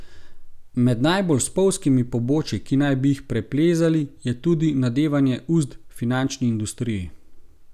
Med najbolj spolzkimi pobočji, ki naj bi jih preplezali, je tudi nadevanje uzd finančni industriji.